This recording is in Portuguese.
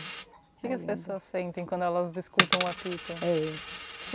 O que as pessoas sentem quando elas escutam o apito? É